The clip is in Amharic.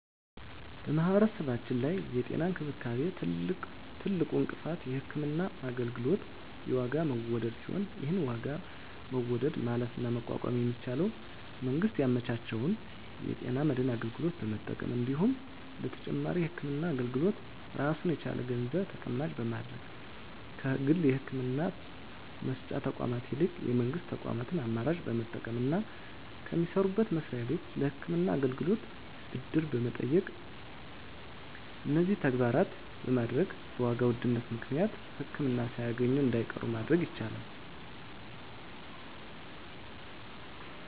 በማህበረሰባችን ላይ የጤና እንክብካቤ ትልቁ እንቅፋት የህክምና አገልግሎት የዋጋ መወደድ ሲሆን ይህን የዋጋ መወደድ ማለፍና መቋቋም የሚቻለው መንግስት ያመቻቸውን የጤና መድን አገልግሎት በመጠቀም እንዲሁም ለተጨማሪ የህክምና አገልግሎት ራሱን የቻለ ገንዘብ ተቀማጭ በማድረግ ከግል የህክምና መስጫ ተቋማት ይልቅ የመንግስት ተቋማትን አማራጭ በመጠቀምና ከሚሰሩበት መስሪያ ቤት ለህክምና አገልግሎት ብድር በመጠየቅ እነዚህን ተግባራት በማድረግ በዋጋ መወደድ ምክንያት ህክምና ሳያገኙ እንዳይቀሩ ማድረግ ይቻላል።